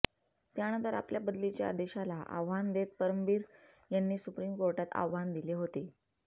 त्यानंतर आपल्या बदलीच्या आदेशाला आव्हान देत परमबीर यांनी सुप्रीम कोर्टात आव्हान दिले होते होते